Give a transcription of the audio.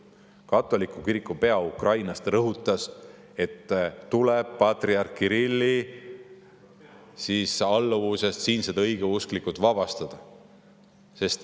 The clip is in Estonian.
Katoliku kiriku pea Ukrainas rõhutas, et siinsed õigeusklikud tuleb patriarh Kirilli alluvusest vabastada.